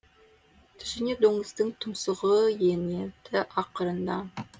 түсіңе доңыздың тұмсығы енеді ақырында